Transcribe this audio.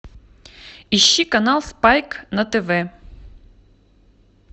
ищи канал спайк на тв